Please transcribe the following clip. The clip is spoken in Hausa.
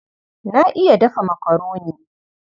Na iya dafa makaroni.